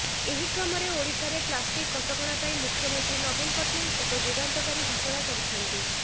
ଏହିକ୍ରମରେ ଓଡ଼ିଶାରେ ପ୍ଳାଷ୍ଟିକ କଟକଣା ପାଇଁ ମୁଖ୍ୟମନ୍ତ୍ରୀ ନବୀନ ପଟ୍ଟନାୟକ ଏକ ଯୁଗାନ୍ତକାରୀ ଘୋଷଣା କରିଛନ୍ତି